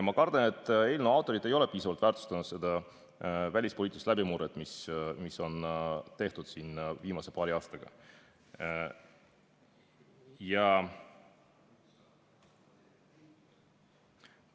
Ma kardan, et eelnõu autorid ei ole piisavalt väärtustanud seda välispoliitilist läbimurret, mis siin viimase paari aasta jooksul on toimunud.